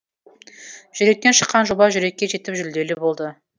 жүректен шыққан жоба жүрекке жетіп жүлделі болды